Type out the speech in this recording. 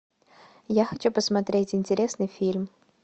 я хочу посмотреть интересный фильм